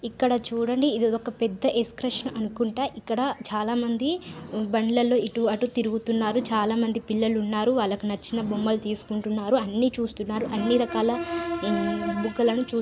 ఇక్కడ చూడండి ఇది ఏదో ఒక పెద్ద ఎక్స్కర్షన అనుకుంటా ఇక్కడ చాలామంది బండ్లలో ఇటు అటు తిరుగుతున్నారు చాలామంది పిల్లలున్నారు వాళ్లకు నచ్చిన బొమ్మలు తీసుకుంటున్నారు అన్నీ చూస్తున్నారు. అన్ని రకాల బుగ్గలను చూ --